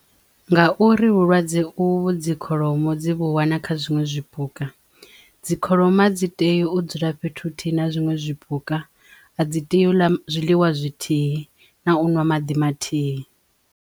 Ngauri vhulwadze uvhu dzi kholomo dzi vhu wana kha zwiṅwe zwipuka dzi kholomo a dzi tei u dzula fhethu huthihi na zwiṅwe zwipuka a dzi tei u ḽa zwiḽiwa zwithihi na u ṅwa maḓi mathihi.